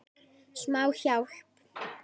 Smá hjálp.